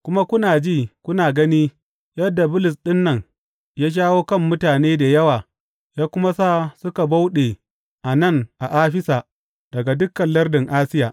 Kuma kuna ji kuna gani yadda Bulus ɗin nan ya shawo kan mutane da yawa ya kuma sa suka bauɗe a nan a Afisa da dukan lardin Asiya.